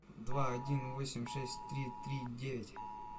два один восемь шесть три три девять